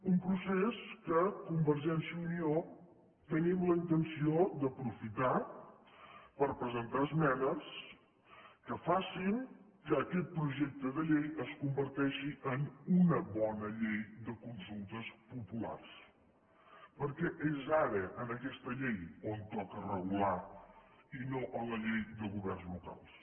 un procés que convergència i unió tenim la intenció d’aprofitar per presentar esmenes que facin que aquest projecte de llei es converteixi en una bona llei de consultes populars perquè és ara en aquesta llei on toca regular i no en la llei de governs locals